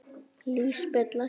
Lísbet, lækkaðu í hátalaranum.